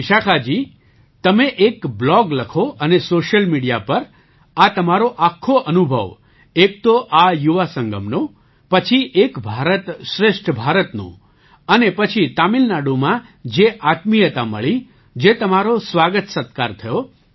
તો વિશાખાજી તમે એક બ્લૉગ લખો અને સૉશિયલ મિડિયા પર આ તમારો આખો અનુભવ એક તો આ યુવા સંગમનો પછી એક ભારત શ્રેષ્ઠ ભારતનો અને પછી તમિલનાડુમાં જે આત્મીયતા મળી જે તમારો સ્વાગતસત્કાર થયો